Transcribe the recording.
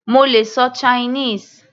Mo lè ṣọ Chinese.